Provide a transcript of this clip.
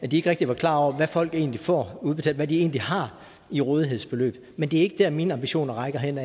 de ikke rigtig var klar over hvad folk egentlig får udbetalt hvad de egentlig har i rådighedsbeløb men det er ikke der mine ambitioner rækker hen